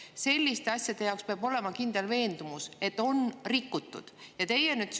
Sest selliste asjade jaoks peab olema kindel veendumus, et on rikutud.